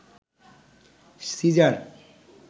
caesar